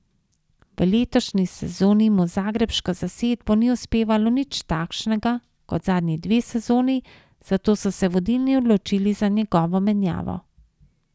V letošnji sezoni mu z zagrebško zasedbo ni uspevalo nič takšnega, kot zadnji dve sezoni, zato so se vodilni odločili za njegovo menjavo.